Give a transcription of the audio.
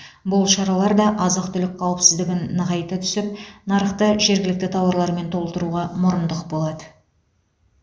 бұл шаралар да азық түлік қауіпсіздігін нығайта түсіп нарықты жергілікті тауарлармен толтыруға мұрындық болады